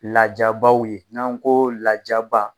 Lajabaw ye n'an ko lajaba